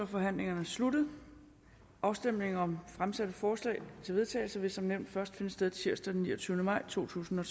forhandlingen sluttet afstemning om fremsatte forslag til vedtagelse vil som nævnt først finde sted tirsdag den niogtyvende maj totusinde